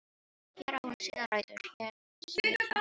Hér á hún sínar rætur, hér slær hjarta hennar.